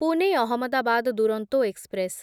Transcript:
Pune Ahmedabad Duronto express